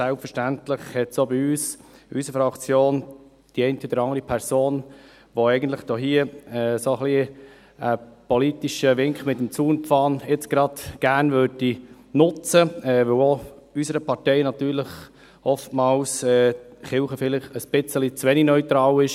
Selbstverständlich gibt es auch in unserer Fraktion die eine oder andere Person, die jetzt gerade einen politischen Wink mit dem Zaunpfahl einsetzen würde, weil die Kirche auch für unsere Partei manchmal vielleicht bei gewissen Themen etwas zu wenig neutral ist.